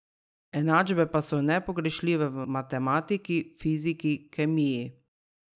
Enačbe pa so nepogrešljive v matematiki, fiziki, kemiji ...